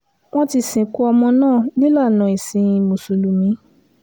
wọ́n ti sìnkú ọmọ náà nílànà ẹ̀sìn mùsùlùmí